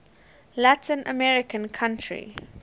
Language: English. latin american country